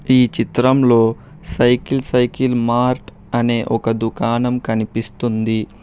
ఈ చిత్రంలో cycle cycle mart అనే ఒక దుకాణం కనిపిస్తుంది.